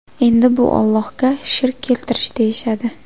Endi buni Ollohga shirk keltirish deyishadi.